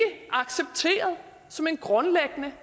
accepteret som en grundlæggende